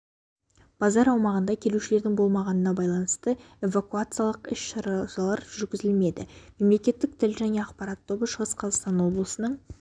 базар аумағында келушілердің болмағанына байланысты эвакуациялық іс-шаралар жүргізілмеді мемлекеттік тіл және ақпарат тобы шығыс қазақстан облысының